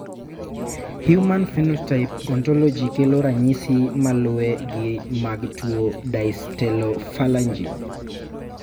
Human Phenotype Ontology kelo ranyisi malue gi mag tuo Dystelephalangy